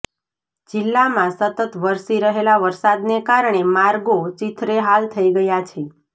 જિલ્લામાં સતત વરસી રહેલા વરસાદને કારણે માર્ગો ચીંથરેહાલ થઈ ગયા છે